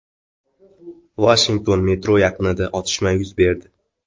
Vashingtonda metro yaqinida otishma yuz berdi.